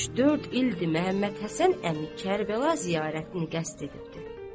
Üç-dörd ildir Məhəmməd Həsən əmi Kərbəla ziyarətini qəsd edibdir.